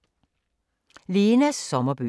Lenas sommerbøger